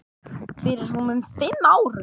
Fyrir rúmum fimm árum.